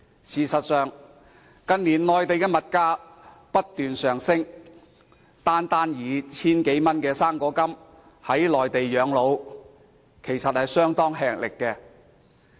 事實上，近年內地物價不斷上升，單靠 1,000 多元的"生果金"在內地養老，其實相當吃力。